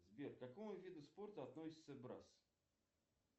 сбер к какому виду спорта относится брасс